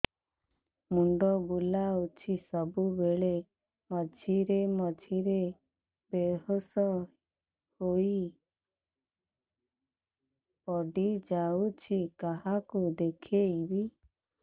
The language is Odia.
ମୁଣ୍ଡ ବୁଲାଉଛି ସବୁବେଳେ ମଝିରେ ମଝିରେ ବେହୋସ ହେଇ ପଡିଯାଉଛି କାହାକୁ ଦେଖେଇବି